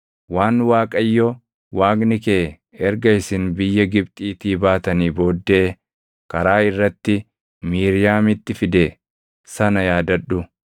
Waan Waaqayyo Waaqni kee erga isin biyya Gibxiitii baatanii booddee karaa irratti Miiriyaamitti fide sana yaadadhu.